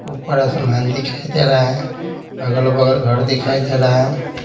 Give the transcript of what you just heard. ऊपर आसमान दिखाई दे रहा है अगल-बगल घर दिखाई दे रहा है।